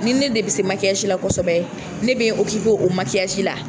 Ni ne de bɛ se la kosɛbɛ ne be o la.